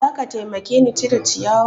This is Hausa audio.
Za ka taimake ni cire ciyawa?